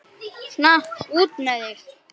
Svona, út með þig!